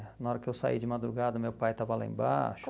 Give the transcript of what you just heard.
Na hora que eu saí de madrugada, meu pai estava lá embaixo.